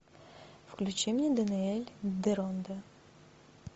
включи мне даниэль деронда